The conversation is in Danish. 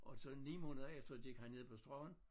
Og så 9 måneder efter gik han ned på stranden